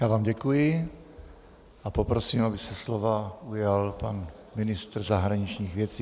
Já vám děkuji a poprosím, aby se slova ujal pan ministr zahraničních věcí.